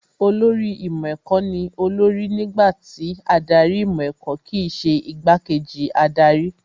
Olórí ìmọ̀ ẹ̀kọ́ ní olórí nígbà tí adarí ìmọ̀ ẹ̀kọ́ kìí ṣe igbá kejì adarí